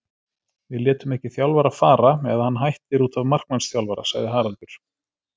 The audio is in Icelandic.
Við látum ekki þjálfara fara, eða hann hættir útaf markmannsþjálfara, sagði Haraldur.